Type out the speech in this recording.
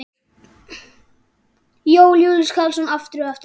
Jón Júlíus Karlsson: Aftur og aftur?